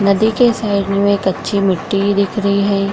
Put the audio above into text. नदी के साइड में कच्ची मिटटी भी दिख रही है।